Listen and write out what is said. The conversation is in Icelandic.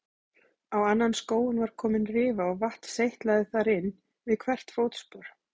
Á annan skóinn var komin rifa og vatn seytlaði þar inn við hvert fótspor.